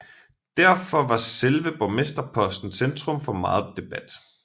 Derfor var selve borgmesterposten centrum for meget debat